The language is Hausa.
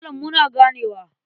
Malam muna ganewa.